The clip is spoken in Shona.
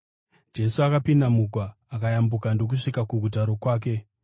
Jesu akapinda mugwa akayambuka ndokusvika kuguta rokwake.